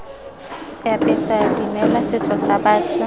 seapesa dimela setso sa batho